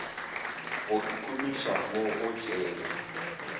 go ikhumiša mo go tšeeng